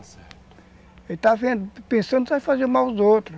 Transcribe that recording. Ele está pensando em fazer mal aos outros.